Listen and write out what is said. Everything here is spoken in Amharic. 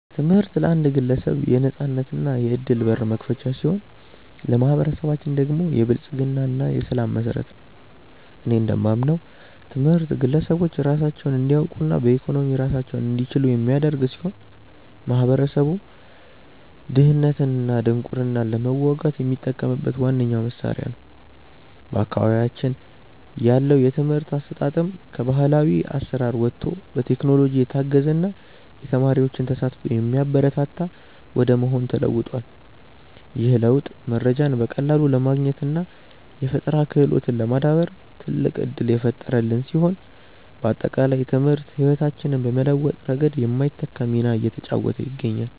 ትምህርት ለአንድ ግለሰብ የነፃነትና የዕድል በር መክፈቻ ሲሆን፣ ለማኅበረሰባችን ደግሞ የብልጽግና እና የሰላም መሠረት ነው። እኔ እንደማምነው ትምህርት ግለሰቦች ራሳቸውን እንዲያውቁና በኢኮኖሚ ራሳቸውን እንዲችሉ የሚያደርግ ሲሆን፣ ማኅበረሰቡም ድህነትንና ድንቁርናን ለመዋጋት የሚጠቀምበት ዋነኛው መሣሪያ ነው። በአካባቢያችን ያለው የትምህርት አሰጣጥም ከባሕላዊ አሠራር ወጥቶ በቴክኖሎጂ የታገዘና የተማሪዎችን ተሳትፎ የሚያበረታታ ወደ መሆን ተለውጧል። ይህ ለውጥ መረጃን በቀላሉ ለማግኘትና የፈጠራ ክህሎትን ለማዳበር ትልቅ ዕድል የፈጠረልን ሲሆን፣ ባጠቃላይ ትምህርት ሕይወታችንን በመለወጥ ረገድ የማይተካ ሚና እየተጫወተ ይገኛል።